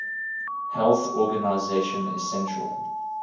health organization essential